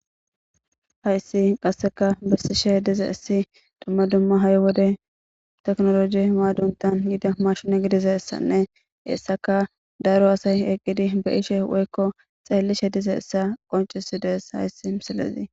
Hayssi qassekka bessishe dizayssi dumma dumma hay wode tekinoloje maadontta yida maashine gidizayssanne hessakka daro asay eqidi be7ishe woykko xeelishe dizayssata qonccisidees hayssi misilezi.